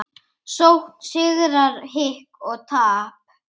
Sókn, sigrar, hik og tap.